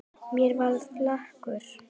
Mér verður flökurt